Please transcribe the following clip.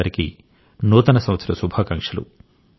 మీ అందరికీ నూతన సంవత్సర శుభాకాంక్షలు